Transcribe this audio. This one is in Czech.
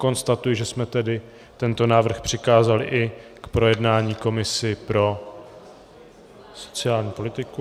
Konstatuji, že jsme tedy tento návrh přikázali k projednání i komisi pro sociální politiku.